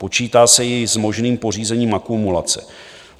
Počítá se i s možným pořízením akumulace.